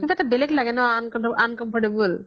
কিবা এটা বেলেগ লাগে ন uncomfortable